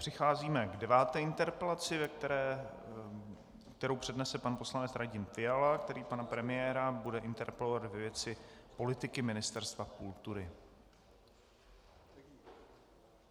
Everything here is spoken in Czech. Přicházíme k deváté interpelaci, kterou přednese pan poslanec Radim Fiala, který pana premiéra bude interpelovat ve věci politiky Ministerstva kultury.